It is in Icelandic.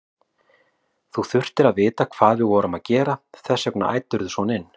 Þú þurftir að vita hvað við vorum að gera, þess vegna æddirðu svona inn.